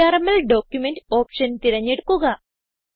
VRML document option തിരഞ്ഞെടുക്കുക